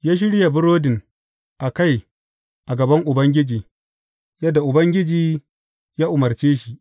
Ya shirya burodin a kai a gaban Ubangiji, yadda Ubangiji ya umarce shi.